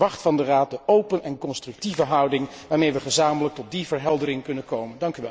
Ik verwacht van de Raad de open en constructieve houding waarmee wij gezamenlijk tot die verheldering kunnen komen.